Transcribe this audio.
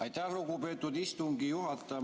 Aitäh, lugupeetud istungi juhataja!